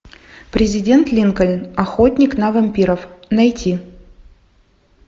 президент линкольн охотник на вампиров найти